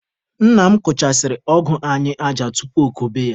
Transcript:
Nna m kụchasịrị ọgụ anyị aja tupu okobe ya.